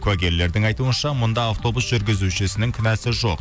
куәгерлердің айтуынша мұнда автобус жүргізушінің кінәсі жоқ